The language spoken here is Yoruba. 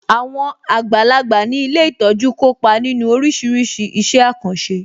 Àwọn àgbàlagbà ní ilé ìtọ́jú kópa nínu oríṣiríṣi iṣẹ́ àkànṣe